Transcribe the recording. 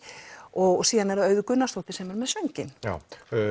og síðan er það Auður Gunnarsdóttir sem er með sönginn já